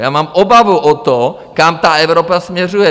Já mám obavu o to, kam ta Evropa směřuje!